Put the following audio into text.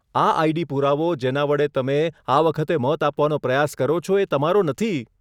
આ આઈડી પુરાવો જેના વડે તમે આ વખતે મત આપવાનો પ્રયાસ કરો છો એ તમારો નથી.